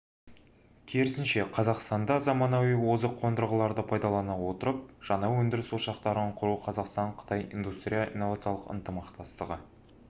керісінше қазақстанда заманауи озық қондырғыларды пайдалана отырып жаңа өндіріс ошақтарын құру қазақстан-қытай индустриялды-инновациялық ынтымақтастығы